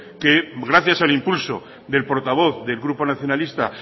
que gracias al impulso del portavoz del grupo nacionalista